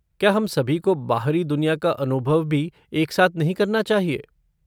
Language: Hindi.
क्या हम सभी को बाहरी दुनिया का अनुभव भी एक साथ नहीं करना चाहिए?